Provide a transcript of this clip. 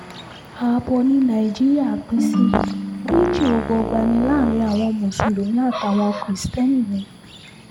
abbo ní nàìjíríà pín sí méjì ọgbọọgba láàrin àwọn mùsùlùmí kiristeni ni